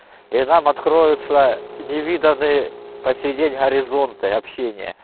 и там откроется невиданный посидеть горизонты общения